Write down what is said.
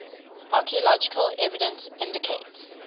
archaeological evidence indicates